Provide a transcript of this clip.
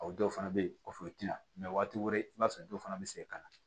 O dɔw fana bɛ yen kɔfɛ u tɛna mɛ waati wɛrɛ i b'a sɔrɔ dɔw fana bɛ segin ka na